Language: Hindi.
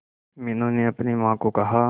मीनू ने अपनी मां को कहा